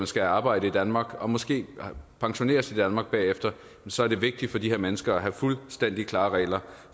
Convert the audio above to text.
skal arbejde i danmark og måske pensioneres i danmark bagefter så er det vigtigt for de her mennesker at have fuldstændig klare regler